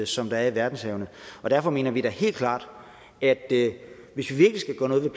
som der er i verdenshavene derfor mener vi da helt klart at hvis vi